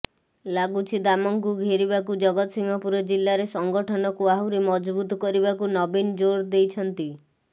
ଲାଗୁଛି ଦାମଙ୍କୁ ଘେରିବାକୁ ଜଗତସିଂହପୁର ଜିଲ୍ଲାରେ ସଂଗଠନକୁ ଆହୁରି ମଜବୁତ କରିବାକୁ ନବୀନ ଜୋର ଦେଇଛନ୍ତି